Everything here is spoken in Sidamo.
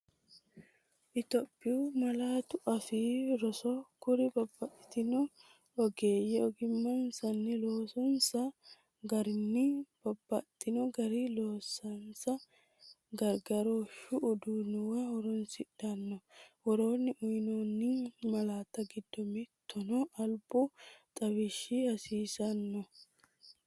Itophiyu Malaatu Afii Roso Kuri babbaxxitino ogeeyye ogimmansanna loosinsa garinni babbaxxi garinni loonsanni gargarooshshu uduunnuwa horoonsidhanno, Woroonni uyinoonni malaatta giddo mittuno albu xawishshi hasiisan?